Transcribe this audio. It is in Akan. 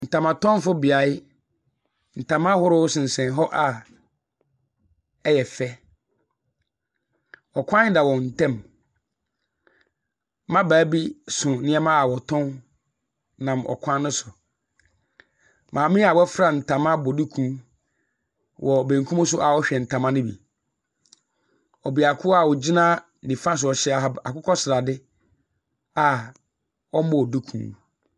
Ntamatɔnfobea. Ntama ahorow seneɛm hɔ a ɛyɛ fɛ. Ɔkwan da wɔn ntam. Mmabaa bi so nneɛma a wɔtan nam ɔkwan no so. Maame a waafura ntama abɔ duku wɔ benkum so a ɔrehwɛ ntama no bi. Ɔbeako a ogyina nifa so ɔhyɛ ahab akokɔsrade a ɔmmɔɔ duku.